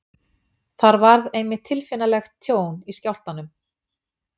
þar varð einmitt tilfinnanlegt tjón í skjálftanum